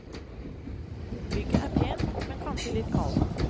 Bygget er pent, men kanskje litt kaldt.